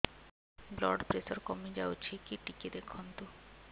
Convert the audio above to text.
blood pressure କମି ଯାଉଛି କି ଟିକେ ଦେଖନ୍ତୁ